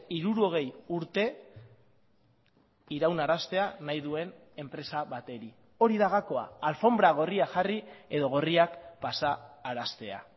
hirurogei urte iraunaraztea nahi duen enpresa bateri hori da gakoa alfonbra gorria jarri edo gorriak pasaraztea